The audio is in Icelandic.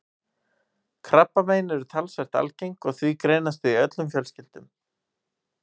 Krabbamein eru talsvert algeng og því greinast þau í öllum fjölskyldum.